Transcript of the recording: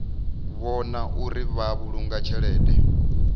vhona uri vha vhulunga tshelede